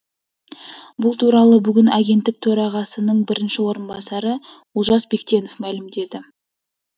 бұл туралы бүгін агенттік төрағасының бірінші орынбасары олжас бектенов мәлімдеді